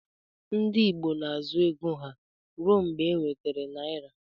Ndi igbo na azụ ego ha rụọ mgba eweter naira.